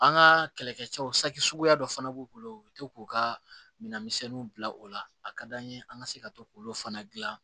An ka kɛlɛkɛcɛw sakisuguya dɔ fana b'u bolo u bɛ to k'u ka minɛnmisɛnninw bila o la a ka d'an ye an ka se ka to k'olu fana dilan